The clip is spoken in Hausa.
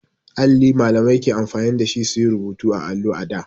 Alli Mallamai ke amfani da shi su yi rubutu a allo a da.